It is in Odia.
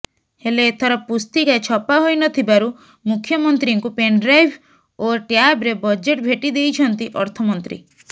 ହେଲେ ଏଥର ପୁସ୍ତିକା ଛପା ହୋଇ ନଥିବାରୁ ମୁଖ୍ୟମନ୍ତ୍ରୀଙ୍କୁ ପେନ୍ଡ୍ରାଇଭ୍ ଓ ଟ୍ୟାବ୍ରେ ବଜେଟ୍ ଭେଟି ଦେଇଛନ୍ତି ଅର୍ଥମନ୍ତ୍ରୀ